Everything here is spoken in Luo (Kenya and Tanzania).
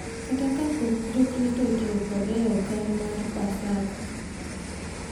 Kata kapok Jokristo otiyo kode e okang’ mar Paska.